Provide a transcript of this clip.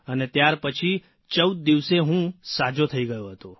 અને ત્યાર પછી ૧૪ દિવસે હું સાજો થઇ ગયો હતો